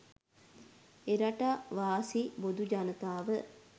එරටාවාසී බොදු ජනතාව